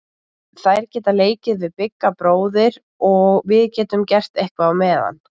Þær geta leikið við Bigga bróður og við getum gert eitthvað á meðan.